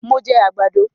Mo jẹ àgbàdo